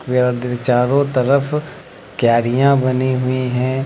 चारों तरफ क्यारियां बनी हुई हैं।